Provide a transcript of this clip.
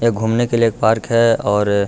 यहां घूमने के लिए एक पार्क है और --